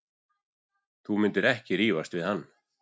Þú myndir ekki rífast við hann.